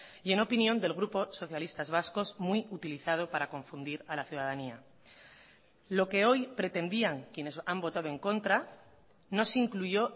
y en opinión del grupo socialistas vascos muy utilizado para confundir a la ciudadanía lo que hoy pretendían quienes han votado en contra no se incluyó